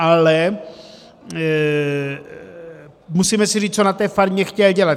Ale musíme si říct, co na té farmě chtěl dělat.